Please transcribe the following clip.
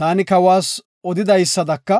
“Taani kawas odidaysadaka,